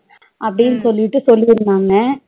அப்டின்னு சொல்லிட்டு சொல்லிருந்தாங்க